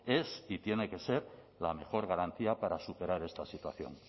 es y tiene que ser la mejor garantía para superar esta situación